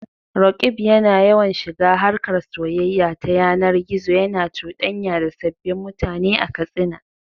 Roqeeb yana yawan shiga harkar soyayya ta yanar gizo, yana cuɗanya da sabbin mutane a Katsina.